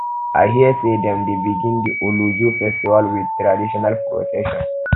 i hear sey dem dey begin di olojo festival wit traditional procession